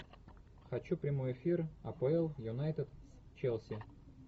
хочу прямой эфир апл юнайтед с челси